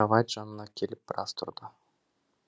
кровать жанына келіп біраз тұрды